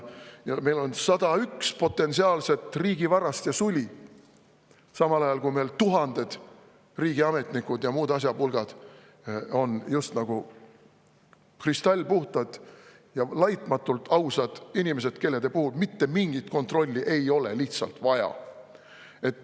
Meil on 101 potentsiaalset riigivarast ja suli, samal ajal kui meil tuhanded riigiametnikud ja muud asjapulgad on just nagu kristallpuhtad ja laitmatult ausad inimesed, kelle puhul lihtsalt mitte mingit kontrolli ei ole vaja.